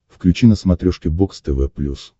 включи на смотрешке бокс тв плюс